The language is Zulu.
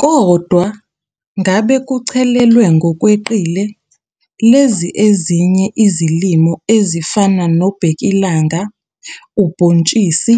Kodwa uma ngabe kuchelelwe ngokweqile lezi ezinye izilimo ezifana nobhekilanga, ubhontshisi